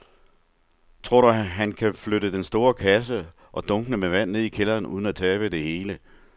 Tror du, at han kan flytte den store kasse og dunkene med vand ned i kælderen uden at tabe det hele?